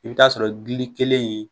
I bi t'a sɔrɔ gili kelen in